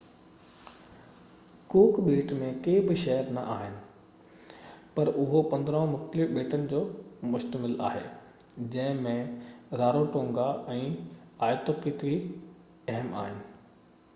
ڪوڪ ٻيٽ ۾ ڪي بہ شهر نہ آهن پر اهو 15 مختلف ٻيٽن تي مشتمل آهي جنهن ۾ راروٽونگا ۽ آئيتوتڪي اهم اهن